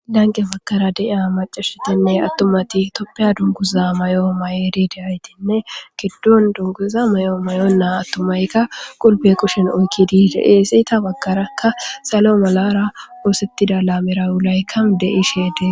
Laniqqe bagara deyiya atumatine maccati tophiya dunuguza mayo mayidi diya geti giddoni dunguza mayo mayona atumayika hupheni kushe oyikidi iza baganika salo malara isetida lamerayi deyesi.